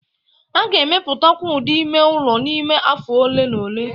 A ga-emepụtakwu ụdị ime ụlọ n'ime afọ ole na ole